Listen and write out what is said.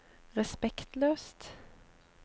respektløst